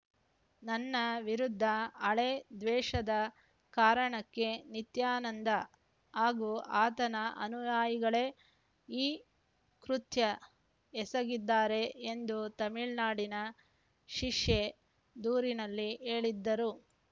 ನನ್ನ ವಿರುದ್ಧ ಹಳೇ ದ್ವೇಷದ ಕಾರಣಕ್ಕೆ ನಿತ್ಯಾನಂದ ಹಾಗೂ ಆತನ ಅನುಯಾಯಿಗಳೇ ಈ ಕೃತ್ಯ ಎಸಗಿದ್ದಾರೆ ಎಂದು ತಮಿಳುನಾಡಿನ ಶಿಷ್ಯೆ ದೂರಿನಲ್ಲಿ ಹೇಳಿದ್ದರು